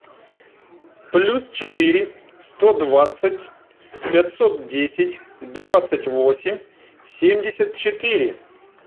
плюс четыре сто двадцать пятьсот десять двадцать восемь семьдесят четыре